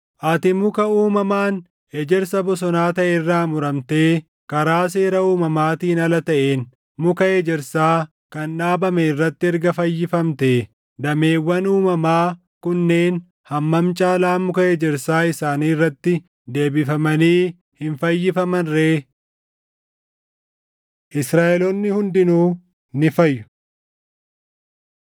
Ati muka uumamaan ejersa bosonaa taʼe irraa muramtee karaa seera uumamaatiin ala taʼeen muka ejersaa kan dhaabame irratti erga fayyifamtee, dameewwan uumamaa kunneen hammam caalaa muka ejersa isaanii irratti deebifamanii hin fayyifaman ree! Israaʼeloonni Hundinuu Ni fayyu